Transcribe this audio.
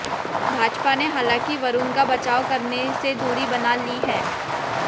भाजपा ने हालांकि वरुण का बचाव करने से दूरी बना ली है